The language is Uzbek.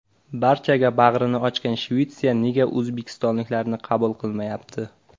Barchaga bag‘rini ochgan Shvetsiya nega o‘zbekistonliklarni qabul qilmayapti?